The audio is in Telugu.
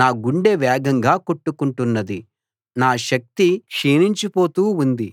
నా గుండె వేగంగా కొట్టుకుంటున్నది నా శక్తి క్షీణించిపోతూ ఉంది